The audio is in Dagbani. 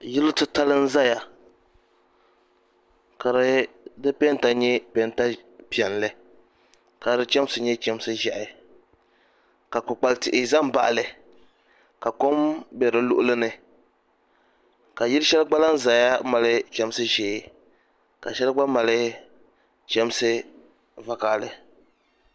Yilli titali n zaya ka si pɛnta yɛ pɛnta piɛli ka di chɛmsi yɛ chɛmsi ʒɛhi ka kpukpali tihi za mbaɣi li ka kom bɛ di luɣili ni ka yili shɛli gba lan zɛya mali chɛmsi ʒɛɛka shɛli gba mali chɛmsi vakahili.